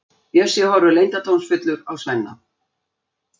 Bjössi horfir leyndardómsfullur á Svenna.